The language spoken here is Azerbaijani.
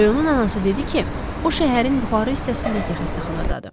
Rəyonun anası dedi ki, o, şəhərin yuxarı hissəsindəki xəstəxanadadır.